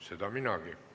Seda minagi.